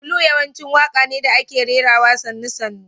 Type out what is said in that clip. Blues yawanci waƙa ne da ake rerawa sannu- sannu.